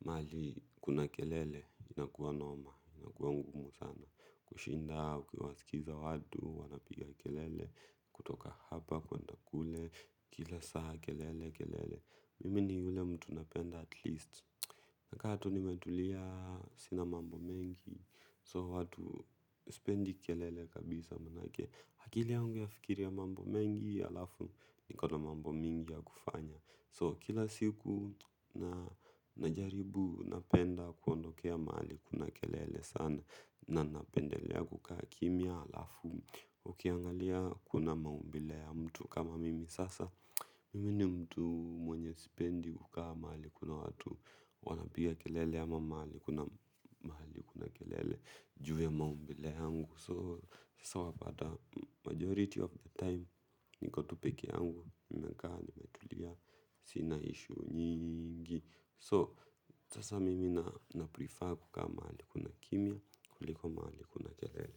mahali kuna kelele inakuwa noma. Inakuwa ngumu sana kushinda ukiwasikiza watu, wanapiga kelele kutoka hapa kuenda kule, kila saa kelele kelele. Mimi ni yule mtu napenda at least. Nakaa tu nimetulia sina mambo mengi. So watu sipendi kelele kabisa manake akili yangu yafikiria mambo mengi alafu ni kada mambo mingi ya kufanya. So kila siku najaribu napenda kuondokea mahali kuna kelele sana na ninapendelea kukaa kimya halafu ukiangalia kuna maumbile ya mtu kama mimi sasa mimi ni mtu mwenye sipendi kukaa mahali kuna watu wanapiga kelele ama mahali kuna kelele ju ya maumbile yangu. So sasa wapata majority of the time niko tu peke yangu nimekaa nimetulia sina issue nyingi. So sasa mimi naprefer kukaa mahali kuna kimya kuliko mahali kuna kelele.